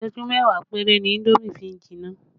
Isẹju mẹ́wàá péré ni indomi fi ń jinná